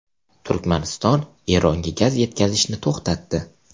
Turkmaniston Eronga gaz yetkazishni to‘xtatdi.